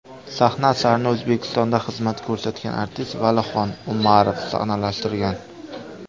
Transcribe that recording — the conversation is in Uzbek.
Sahna asarini O‘zbekistonda xizmat ko‘rsatgan artist Valixon Umarov sahnalashtirgan.